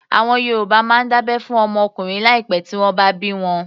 Àwọn Yorùbá máa ń dábẹ́ fún ọmọ ọkùnrin láì pẹ tí wọ́n bá bí wọn